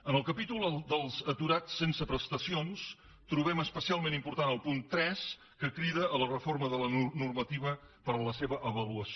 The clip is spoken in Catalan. en el capítol dels aturats sense prestacions trobem especialment important el punt tres que crida a la reforma de la normativa per a la seva avaluació